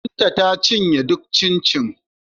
Binta ta cinye duk cincin